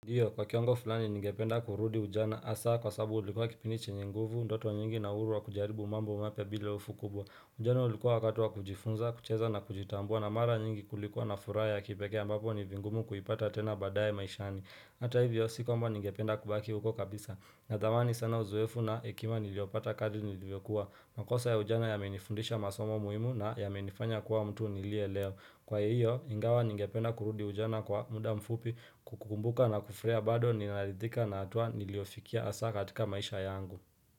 Ndio kwa kiwango fulani ningependa kurudi ujana asa kwa sabu ulikuwa kipindi chenye nguvu ndoto nyingi na uhuru wa kujaribu mambo mapya bila hofu kubwa ujana ulikuwa wakati wa kujifunza kucheza na kujitambua na mara nyingi kulikuwa na furaha ya kipekee ambapo ni vingumu kuipata tena baadae maishani ata hivyo si kwamba ningependa kubaki huko kabisa na thamani sana uoefu na hekima niliopata kadri nilivyokuwa makosa ya ujana yamenifundisha masomo muhimu na yamenifanya kuwa mtu niliye leo Kwa hiyo, ingawa ningependa kurudi ujana kwa muda mfupi kukumbuka na kufuraia bado ninarithika na hatua niliofikia asa katika maisha yangu.